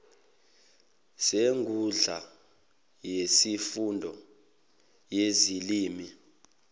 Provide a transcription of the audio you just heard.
senkundla yesifundo yezilimi